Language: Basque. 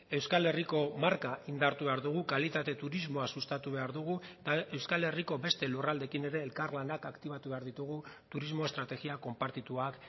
euskal herriko marka indartu behar dugu kalitate turismoa sustatu behar dugu eta euskal herriko beste lurraldeekin ere elkarlanak aktibatu behar ditugu turismo estrategia konpartituak